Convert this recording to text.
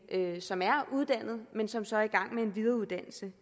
som er uddannet men som så er i gang med en videreuddannelse